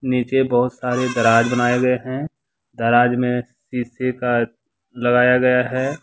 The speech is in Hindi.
नीचे बहुत सारे दराज बनाए गए हैं दराज में शीशे का लगाया गया है।